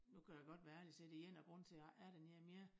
Nu kan jeg godt være ærlig og sige det én af grundene til jeg ikke er dernede mere